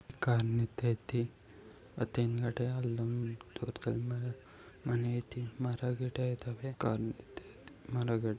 Car ನಿಂತೈತಿ. ಮತ್ತೆ ಹಿಂದುಗಡೆ ಅಲ್ಲೊಂದು ದೂರದಲ್ಲಿ ಮನೆ ಐತಿ. ಮರಗಿಡಗ ಇದಾವೆ. ಕಾರು ನಿಂತೈತಿ. ]